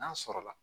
N'a sɔrɔla